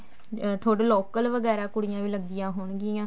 ਤੁਹਾਡੇ local ਵਗੈਰਾ ਕੁੜੀਆਂ ਵੀ ਲੱਗੀਆਂ ਹੋਣਗੀਆਂ